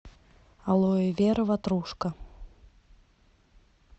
алоэвера ватрушка